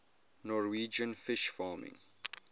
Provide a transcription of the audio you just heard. norwegian fish farming